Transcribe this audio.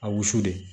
A wusu de